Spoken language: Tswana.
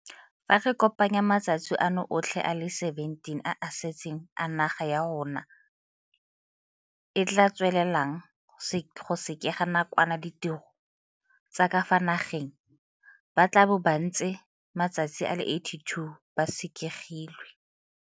Fa re kopanya matsatsi ano otlhe le a le 17 a a setseng a naga ya rona e tla tswelelang go sekega nakwana ditiro tsa ka fa nageng, ba tla bo ba ntse matsatsi a le 82 ba sekegilwe.